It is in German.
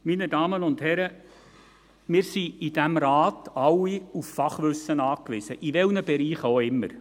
Meine Damen und Herren, wir sind in diesem Rat alle auf Fachwissen angewiesen, in welchen Bereichen auch immer.